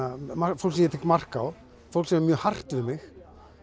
fólk sem ég tek mark á fólk sem er mjög hart við mig